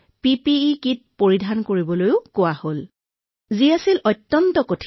PPE kit পিন্ধি কৰ্তব্য সমাপন কৰাটো অতিশয় কঠিন